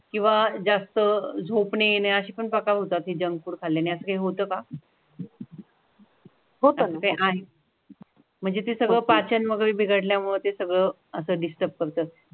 किंवा जास्त झोप न येण्याशी पक्का होता ते जंक फुड खल्लानी असा काय होतं का? म्हणजे ते सगळं पाचमध्ये बिघडल्यामुळे ते सगळं असं डिस्टर्ब करतात.